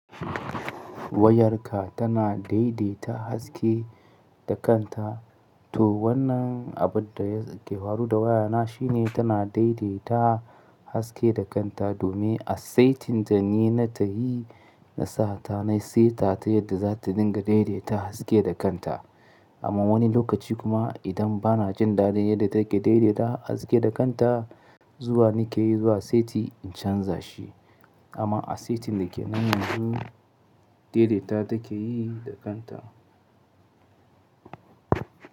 Wayarka tana daidaita haske da kanta. To wannan abun da yake faru da wayana shi ne tana daidaita haske da kanta domin asaitin ta ni na tahi na sata na seta ta yadda za ta dinga daidaita haske da kanta. Amma wani lokaci kuma idan bana jin dadin yadda take daidaita haske da kanta zuwa ni ke yi zuwa seti in canza shi. Amma asaitin da ke nan yanzu daidaita take yi da kanta.